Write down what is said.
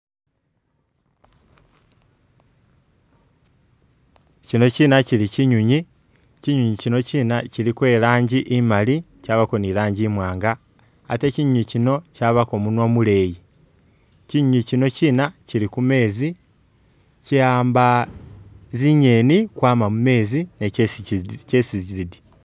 Kyino kyina kyili kinywinywi, kinywinywi kyino kina kyiliko irangi imaali chabako ni rangi imwaanga ate kinywinywi kyino chabako munwa muleyi. Kinywinywi kyino kyina kyili ku meezi ki'amba zingeni kwama mu meezi, mezi nizo kyesi kyidya.